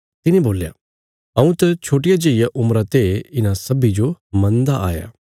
तिने बोल्या हऊँ त छोट्टिया जेईया उम्रा ते इन्हां सब्बीं जो मन्नदा आया